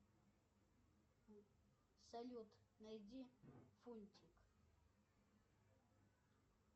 салют найди фунтик